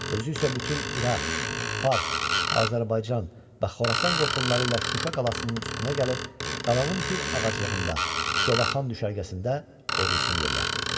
Özü isə bütün İraq, Fars, Azərbaycan və Xorasan qoşunları ilə Şuşa qalasının üstünə gəlib, qalanın bir ağaclığında, Covaxan düşərgəsində ordusunu yerləşdirdi.